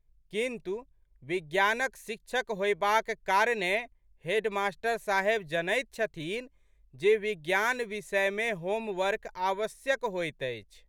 किन्तु, विज्ञानक शिक्षक होएबाक कारणेँ हेडमास्टर साहेब जनैत छथिन्ह जे विज्ञान विषय मे होमवर्क आवश्यक होइत अछि।